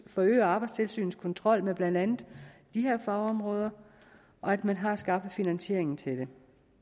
forøger arbejdstilsynets kontrol med blandt andet de her fagområder og at man har skaffet finansiering til det